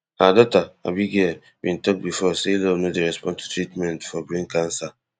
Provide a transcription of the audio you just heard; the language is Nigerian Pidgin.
her daughter abigale bin tok before say love no dey respond to treatment for brain cancer